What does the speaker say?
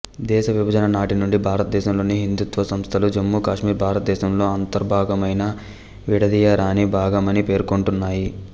దేశవిభజన నాటి నుండి భారతదేశంలోని హిందుత్వ సంస్థలు జమ్మూ కాశ్మీర్ భారతదేశంలో అంతర్భాగమైన విడదీయరాని భాగమని పేర్కొంటున్నాయి